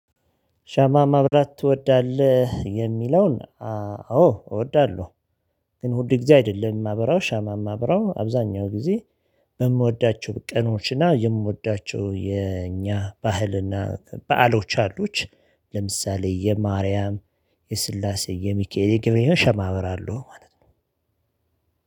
ሻማ ማብራት ትወዳለህ? የሚለውን አዎ እወዳለሁ ግን እሁድ ጊዜ አይደለም ማብራው ሻማ ማብራው አብዛኛው ጊዜ በምወዳቸው ቀኖችና የምወዳቸው የእኛ ባህልና በዓሎች አሉት ለምሳሌ የማርያም የስላሴ የሚካኤል ግብር የሸማበር አለው ማለት ነው